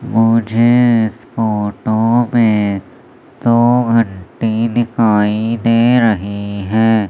मुझे इस फोटो में दो घंटी दिखाई दे रही हैं।